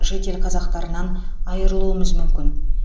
шетел қазақтарынан айырылуымыз мүмкін